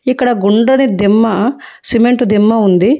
ఇక్కడ గుండది దిమ్మ సిమెంటు దిమ్మ ఉంది.